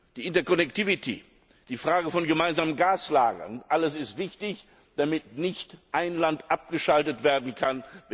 Die Interconnectivity die Frage von gemeinsamen Gaslagern all dies ist wichtig, damit nicht ein Land abgeschaltet werden kann.